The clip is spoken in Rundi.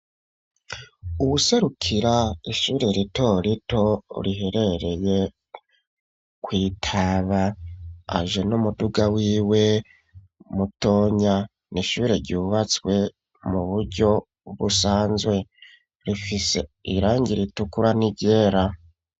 Uwuserukira ishure rito rito riherereye kwitaba aje n'umuduga w'iwe mutonya nishure ryubatswe mu buryo busanzwe rifise irangira ritukura n’iryera.